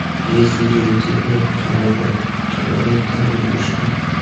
есть ли у тебя кинолента игрушки